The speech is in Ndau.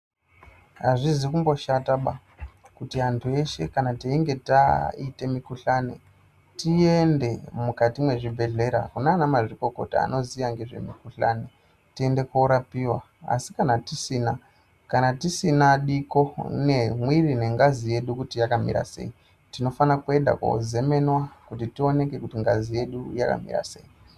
Azvizi kumboshataba kuti antu eshe kana tinge taita mikuhlani tiende mukati mezvibhehlera kunana mazvikokota anoziva nezvemakuhlani ..tiende korapiwa..asi kana tisina diko nemwiri nengazi yedu kuti yakamira sei tinofanira kuenda kozemenwa kuti tioneke kuti ngazi yedu yakamira sei